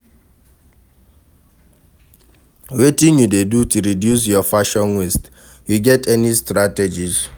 Wetin you dey do to reduce your fashion waste, you get any strategies?